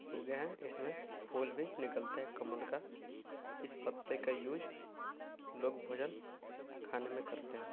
हो गया है इसमे फूल भी निकलते है कमाल का इस पत्ते का यूस लोग भोजन खाने में करते है।